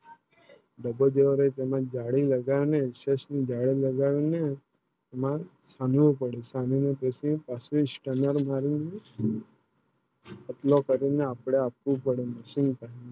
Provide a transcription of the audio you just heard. ડબ્બો જો મને જાળી લગાને ઇસસે જાળી લગાના મગ એનું નું પાડું મગ સનું નું Stunner મારી અપલો પડે ને આપણા આખું પડું છું